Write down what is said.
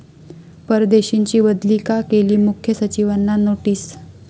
परदेशींची बदली का केली?,मुख्य सचिवांना नोटीस